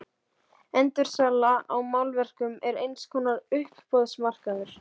Endursala á málverkum er eins konar uppboðsmarkaður.